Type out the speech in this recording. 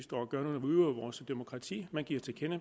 udøver vores demokrati og giver til kende